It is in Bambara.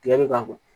Tigɛli ka bon